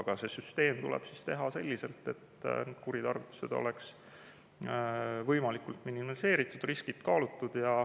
Aga see süsteem tuleb siis teha selliselt, et kuritarvitused oleks võimalikult minimeeritud, riskid kaalutud.